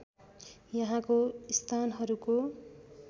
यहाँको स्थानहरूको